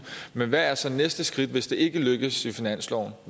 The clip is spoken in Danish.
men hvad er så næste skridt hvis ikke det lykkes i finansloven